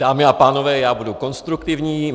Dámy a pánové, já budu konstruktivní.